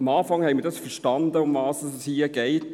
Am Anfang verstanden wir, worum es hier geht.